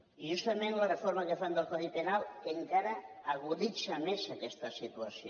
i justament la reforma que fan del codi penal encara aguditza més aquesta situació